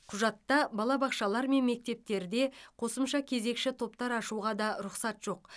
құжатта балабақшалар мен мектептерде қосымша кезекші топтар ашуға да рұқсат жоқ